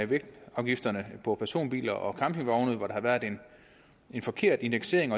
vægtafgifter på personbiler og campingvogne hvor der har været en forkert indeksering